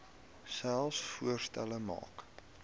selfs voorstelle maak